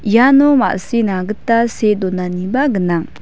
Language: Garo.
iano ma·sina gita see donaniba gnang.